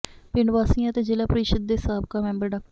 ਪਿੰਡ ਵਾਸੀਆਂ ਅਤੇ ਜ਼ਿਲਾ ਪ੍ਰੀਸ਼ਦ ਦੇ ਸਾਬਕਾ ਮੈਂਬਰ ਡਾ